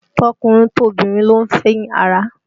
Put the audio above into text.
Tọkùnrin tobìnrin ló ń fín ara